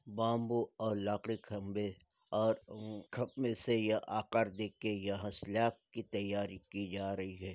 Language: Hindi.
बाम्बू और लकड़ी क खम्भे और उम खम् से यह आकार देखके यह की तैयारी की जा रही है।